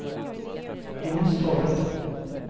Jonstorp